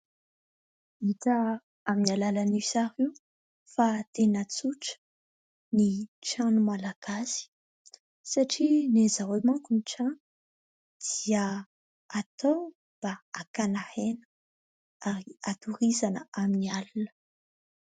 Hita amin'ny alalan'io sary io fa tena tsotra ny trano malagasy, satria ny an'izy ireo manko ny trano dia atao mba hakana aina ary hatoriana amin'ny alina.